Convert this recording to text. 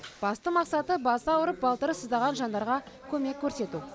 басты мақсаты басы ауырып балтыры сыздаған жандарға көмек көрсету